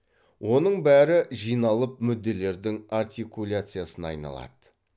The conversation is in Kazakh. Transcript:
оның бәрі жиналып мүдделердің артикуляциясына айналады